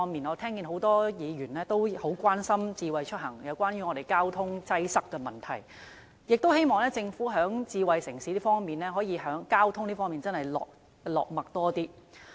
我聽到很多議員也很關心智慧出行和交通擠塞的問題，希望政府在智慧城市的交通方面多加着墨。